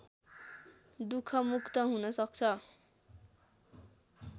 दुखमुक्त हुन सक्छ